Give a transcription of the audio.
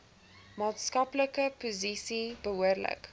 maatskaplike posisie behoorlik